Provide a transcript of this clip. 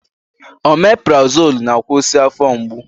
Omeprazolụ na-akwụsị afọ mgbu